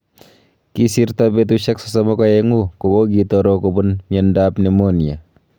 Kisirton betusiek 32 kogogitoro kobuun miondaab nimonia.